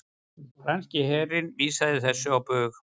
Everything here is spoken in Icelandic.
Franski herinn vísaði þessu á bug